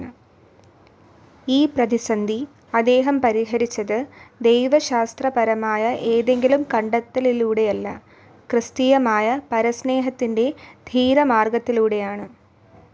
ഈ പ്രതിസന്ധി അദ്ദേഹം പരിഹരിച്ചത്, ദൈവശാസ്ത്രപരമായ ഏതെങ്കിലും കണ്ടെത്തലിലൂടെയല്ല, ക്രിസ്തീയമായ പരസ്നേഹത്തിന്റെ ധീരമാർഗ്ഗത്തിലൂടെയാണ്....